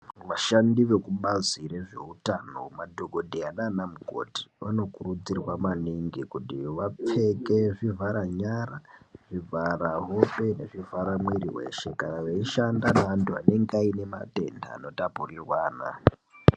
Vashandi vekubazi rezveutano madhokodheyaa nana mukoti vanokurudzirwaa maningi kuti vapfekee, zvivharanyara, zvivhara hope nezvivhara mwiri weshee kana veishanda ngevantu vanenga vaine matenda anotapurirwana.